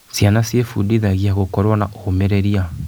Ciana ciebundithagia gũkorwo na ũmĩrĩria.